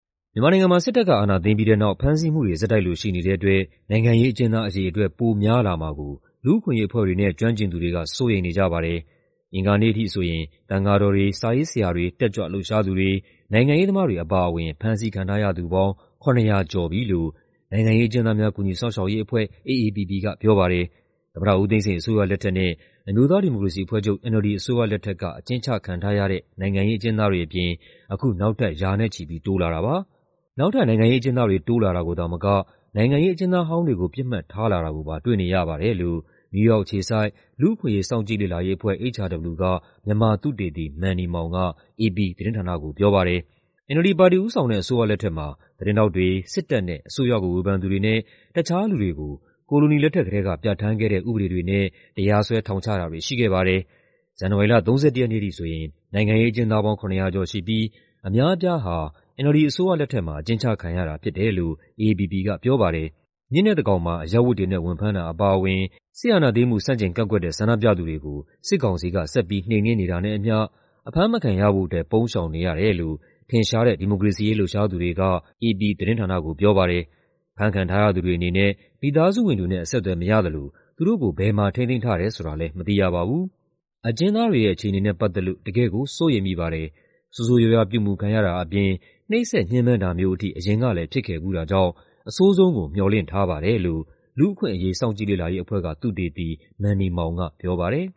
မြန်မာနိုင်ငံမှာ စစ်တပ်က အာဏာသိမ်းပြီးတဲ့နောက် ဖမ်းဆီးမှုတွေ ဆက်တိုက်လိုရှိနေတဲ့အတွက် နိုင်ငံရေးအကျဉ်းသားအရေအတွက် ပိုများလာမှာကို လူ့အခွင့်အရေးအဖွဲ့တွေနဲ့ ကျွမ်းကျင်သူတွေက စိုးရိမ်နေကြပါတယ်။ အင်္ဂါနေ့အထိဆိုရင် သံဃာတော်တွေ၊ စာရေးဆရာတွေ၊ တက်ကြွလှုပ်ရှားသူတွေ၊ နိုင်ငံရေးသမားတွေအပါအဝင် ဖမ်းဆီးခံထားရသူပေါင်း ၇၀၀ နီးပါးရှိနေပြီလို့ နိုင်ငံရေးအကျဉ်းသားများ ကူညီစောင့်ရှောက်ရေးအဖွဲ့ (AAPP) ကပြောပါတယ်။ သမ္မတဦးသိန်းစိန် အစိုးရလက်ထက်နဲ့ အမျိုးသားဒီမိုကရေစီအဖွဲ့ချုပ် (NLD) အစိုးရလက်ထက်က အကျဉ်းချခံထားရတဲ့ နိုင်ငံရေးအကျဉ်းသားတွေအပြင် အခုနောက်ထပ် ရာနဲ့ချီပြီး တိုးလာတာပါ။ "နောက်ထပ် နိုင်ငံရေးအကျဉ်းသားတွေ တိုးလာတာကိုသာမက နိုင်ငံရေးအကျဉ်းသားဟောင်းတွေကို ပစ်မှတ်ထားလာတာကိုပါ တွေ့နေရပါတယ်။" လို့ နယူးယောက်အခြေစိုက်၊ လူ့အခွင့်အရေး စောင့်ကြည့်လေ့လာရေးအဖွဲ့ (HRW) က မြန်မာသုတေသီ မန်နီမောင်က အေပီသတင်းဌာနကို ပြောပါတယ်။ NLD ပါတီ ဦးဆောင်တဲ့ အစိုးရလက်ထက်မှာ သတင်းထောက်တွေ၊ စစ်တပ်နဲ့ အစိုးရကိုဝေဖန်သူတွေနဲ့ တခြားလူတွေကို ကိုလိုနီလက်ထက်ကတည်းက ပြဌာန်းခဲ့တဲ့ ဥပဒေတွေနဲ့ တရားစွဲ ထောင်ချတာတွေရှိခဲ့ပါတယ်။ ဇန်နဝါရီလ ၃၁ ရက်နေ့အထိဆိုရင် နိုင်ငံရေးအကျဉ်းသားပေါင်း ၇၀၀ ကျော်ရှိပြီး အများအပြားဟာ NLD အစိုးရလက်ထက်မှာ အကျဉ်းချခံရတာဖြစ်တယ်လို့ AAPP ကပြောပါတယ်။ ညဉ့်နက်သန်းခေါင်မှာ အရပ်ဝတ်တွေနဲ့ ဝင်ဖမ်းတာအပါအဝင် စစ်အာဏာသိမ်းမှု ဆန့်ကျင်ကန့်ကွက်တဲ့ ဆန္ဒပြသူတွေကို စစ်ကောင်စီက ဆက်ပြီးနှိမ်နင်းနေတာနဲ့အမ ျှ အဖမ်းမခံရဖို့အတွက် ပုန်းရှောင်နေရတယ်လို့ ထင်ရှားတဲ့ ဒီမိုကရေစီရေးလှုပ်ရှားသူတွေက အေပီသတင်းဌာနကို ပြောပါတယ်။ ဖမ်းခံထားရသူတွေအနေနဲ့ မိသားစုဝင်တွေနဲ့ အဆက်အသွယ်မရသလို သူတို့ကို ဘယ်မှာထိန်းသိမ်းထားတယ်ဆိုတာလည်း မသိရပါဘူး။ "အကျဉ်းသားတွေရဲ့ အခြေအနေနဲ့ပတ်သက်လို့ တကယ့်ကို စိုးရိမ်မိပါတယ်။ ဆိုးဆိုးရွားရွား ပြုမူခံရတာအပြင် နှိပ်စက်ညှဉ်းပန်းတာမျိုးအထိ အရင်ကလည်း ဖြစ်ခဲ့ဖူးတာကြောင့် အဆိုးဆုံးကို မေ ျှာ်လင့်ထားပါတယ်။" လို့ လူ့အခွင့်အရေး စောင့်ကြည့်လေ့လာရေးအဖွဲ့က သုတေသီ မန်နီမောင်ကပြောပါတယ်